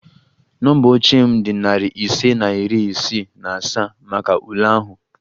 Nọmba oche m dị narị ise na iri isii na asaa maka ule ahụ